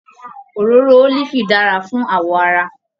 Òróró ólífì dára fún awọ ara.